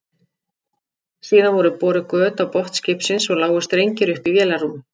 Síðan voru boruð göt á botn skipsins og lágu strengir upp í vélarrúm.